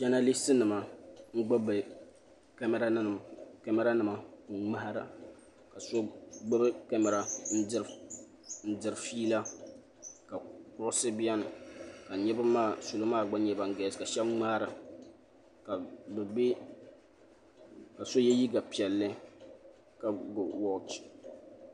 Janaliis nima n gbubi bi kamara nima n ŋmahira ka so gbubi kamara n diri fiila ka kuɣusi bɛni ka salo maa gba nyɛ ban galisi ka shɛba ŋmaara ka so yɛ liiga piɛlli ka ga wɔchi.